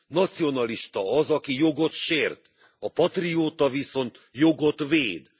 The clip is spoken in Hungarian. Nacionalista az, aki jogot sért, a patrióta viszont jogot véd.